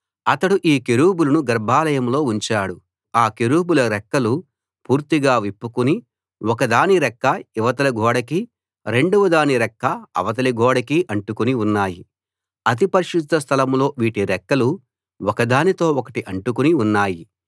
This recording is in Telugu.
అతడు ఈ కెరూబులను గర్భాలయంలో ఉంచాడు ఆ కెరూబుల రెక్కలు పూర్తిగా విప్పుకుని ఒకదాని రెక్క ఇవతలి గోడకీ రెండవదాని రెక్క అవతలి గోడకీ అంటుకుని ఉన్నాయి అతి పరిశుద్ధ స్థలం లో వీటి రెక్కలు ఒకదానితో ఒకటి అంటుకుని ఉన్నాయి